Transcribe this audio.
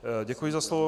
Děkuji za slovo.